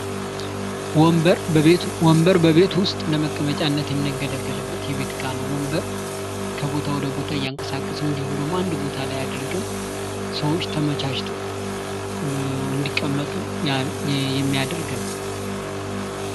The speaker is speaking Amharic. ወንበር በቤት ዉስጥ ለመቀመጫነት የምንገለገልበት የቤት እቃ ነው። ወንበር ከቦታ ወደ ቦታ እያንቀሳቀስን እንዲሁም ደሞ አንድ ቦታ ላይ አድርገን ፤ ሰዎች ተመቻችተው እንዲቀመጡ የሚያደርግ ነው።